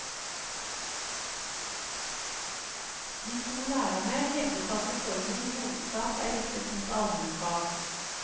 De to lærerne hevdet at reformen i hovedsak er rettet mot almenfag.